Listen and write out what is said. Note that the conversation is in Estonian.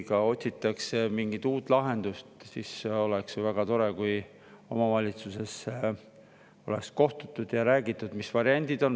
Kui otsitakse mingit uut lahendust, siis oleks ju väga tore, kui omavalitsusega kohtutaks ja räägitaks, mis variandid on.